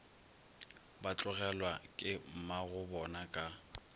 ba tlogelwa ke mmagobona ka